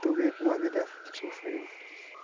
a vida é sofrida.